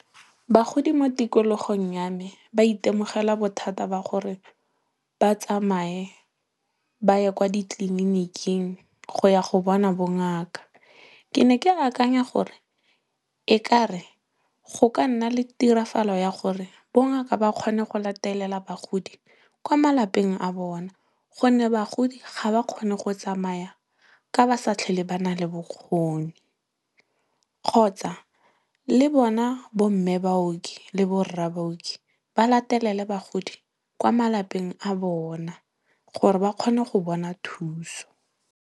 Bagodi mo tikologong ya me, ba itemogela bothata ba gore ba tsamaye ba ye kwa ditleliniking go ya go bona bongaka. Ke ne ke akanya gore, ekare, go ka nna le tirafalo ya gore bongaka ba kgone go latelela bagodi kwa malapeng a bona gonne bagodi ga ba kgone go tsamaya ka ba sa tlhole ba nale bokgoni. Kgotsa, le bona bo mme baoki le bo rra baoki, ba latelele bagodi kwa malapeng a bona gore ba kgone go bona thuso.